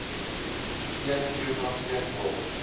een kilogram steenkool